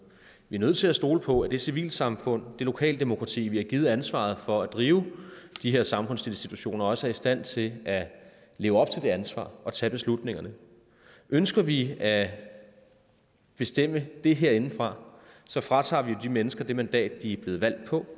vi er nødt til at stole på at det civilsamfund og det lokaldemokrati som vi har givet ansvaret for at drive de her samfundsinstitutioner også er i stand til at leve op til det ansvar og tage beslutningerne ønsker vi at bestemme det herindefra fratager vi de mennesker det mandat de er blevet valgt på